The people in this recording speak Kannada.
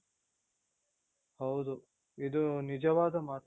ಹೌದು ಇದು ನಿಜವಾದ ಮಾತು